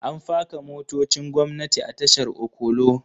An faka motocin gwamnati a tashar okolo